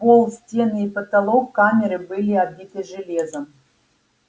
пол стены и потолок камеры были обиты железом